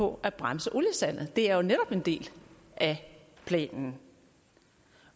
på at bremse oliesalget det er jo netop en del af planen